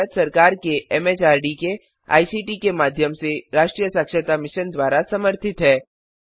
यह भारत सरकार के एमएचआरडी के आईसीटी के माध्यम से राष्ट्रीय साक्षरता मिशन द्वारा समर्थित है